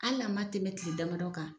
Hali a ma tɛmɛ kile damadɔ kan